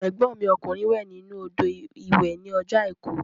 Ẹ̀gbọ́n mi ọkùnrin wẹ̀ nínú odò ìwẹ̀ ní ọjọ́ àìkú